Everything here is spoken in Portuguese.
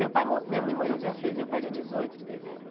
Meu pai mo minha mãe morreu dia seis e meu pai dia dezoito de dezembro.